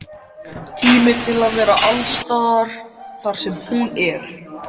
Tíma til að vera alls staðar þar sem hún er.